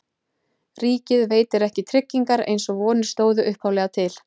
Ríkið veitir ekki tryggingar eins og vonir stóðu upphaflega til.